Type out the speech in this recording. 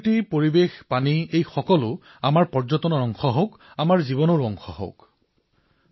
প্ৰকৃতি পৰিবেশ পানী এই সকলোবোৰ আমাৰ পৰ্যটনৰ অংশ হৈ পৰাৰ লগতে আমাৰ জীৱনৰো অংশ হৈ পৰক